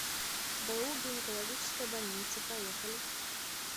бу гинекологическая больница поехали